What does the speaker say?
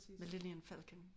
Millenial Falcon